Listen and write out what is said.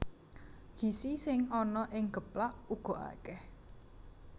Gizi sing ana ing geplak uga akèh